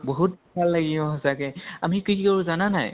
বহুত ভাল লাগে সচাঁকে । আমি কি কি কৰো জানা নে নাই ?